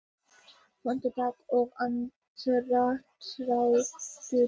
Fótatak og andardráttur.